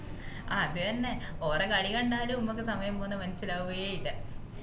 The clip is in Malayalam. അത് തന്നെ ഓറേ കളി കണ്ടാല് മ്മക്ക് സമയം പോന്നത് മനസിലാവുവേ ഇല്ല